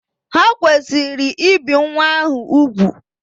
Ha kwesịrị ibi nwa ahụ ugwù.